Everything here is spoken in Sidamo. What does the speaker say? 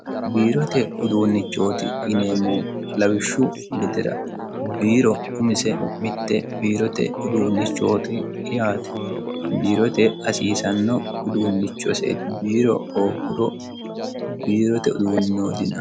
Biirote uduunnichoti yineemmohu lawishu gedera biiro umise mitte biirote uduunichooti yaate biirote hassisano uduunichose biiro hooguro biirote uduunni no diyinani.